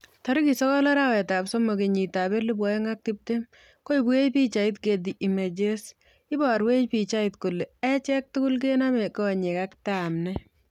Tarik sokol arawetab somok kenyitab elebu oeng ak tiptem, koibwech pichait Getty Images .Iborwech pichait kole achek tugul kenome konyek ak tamnet.